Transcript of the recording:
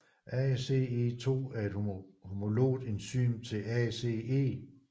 ACE2 er et homologt enzym til ACE